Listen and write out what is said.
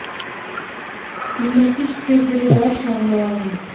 юмористическая передача онлайн